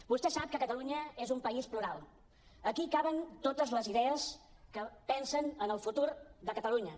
vostè sap que catalunya és un país plural aquí hi caben totes les idees que pensen en el futur de catalunya